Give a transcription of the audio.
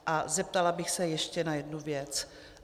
A zeptala bych se ještě na jednu věc.